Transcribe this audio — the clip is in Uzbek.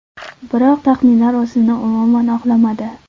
Biroq taxminlar o‘zini umuman oqlamadi.